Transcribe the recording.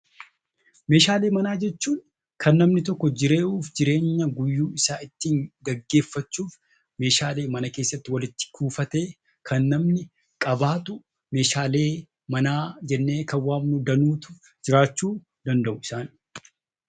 Meeshaalee manaa jechuun kan namni tokko jiruu fi jireenya guyyuu isaa ittiin gaggeeffachuuf meeshaalee mana keessatti walitti kuufatee kan namni qabaatu meeshaalee manaa jennee kan waamnu danuutu jiraachuu danda'u.